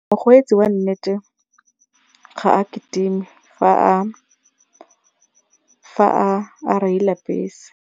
Mokgweetsi wa nnete ga a kitime fa a fa a reila bese.